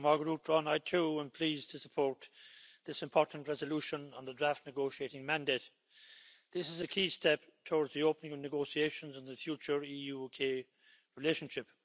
Madam President, I too am pleased to support this important resolution on the draft negotiating mandate. This is a key step towards the opening of negotiations in the future EU-UK relationship.